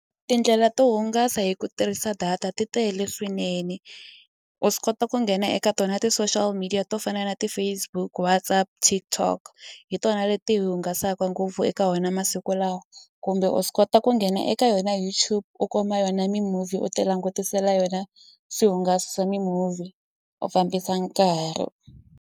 Tindlela to hungasa hi ku tirhisa data ti tele swinene u swi kota ku nghena eka tona ti-social media to fana na ti-Facebook WhatsApp TikTok hi tona leti hi hungasaka ngopfu eka wena masiku lawa kumbe u swi kota ku nghena eka yona YouTube u kuma yona mi-movie u ti langutisela yona swi hungasi swa mi-movie u fambisa nkarhi.